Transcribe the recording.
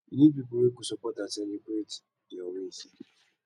you need people wey go support and celebrate your wins